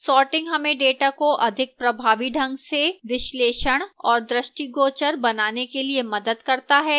sorting हमें data को अधिक प्रभावी ढंग से विश्लेषण और दृष्टिगोचर बनाने के लिए मदद करता है